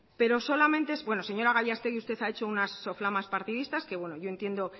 señora gallastegi usted ha hecho una soflamas partidista que yo entiendo